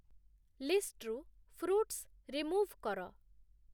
ଲିଷ୍ଟ୍‌ରୁ fruits remove କର